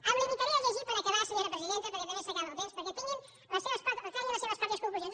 em limitaré a llegir per acabar senyora presidenta perquè també s’acaba el temps perquè treguin les seves pròpies conclusions